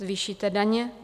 Zvýšíte daně?